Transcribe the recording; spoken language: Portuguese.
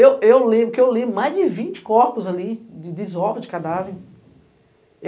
Eu lembro que eu li mais de vinte corpos ali, de desovas, de cadáver.